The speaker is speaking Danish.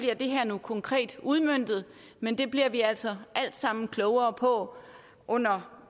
det her nu bliver konkret udmøntet men det bliver vi altså alt sammen klogere på under